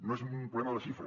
no és un problema de xifra